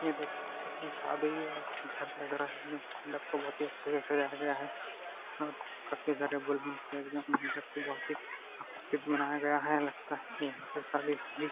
ये देख सकते हैं शादी ही वाला घर लग रहा है। यहां मंडप को बहुत ही अच्छे से सजाया गया है और काफी सारे बलूंस एकदम मंडप को बहुत ही मनाया गया है। लगता है यहीं पर शादी होगी।